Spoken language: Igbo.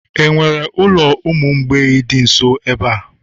enwere ulo umu mgbei di nso ebe a?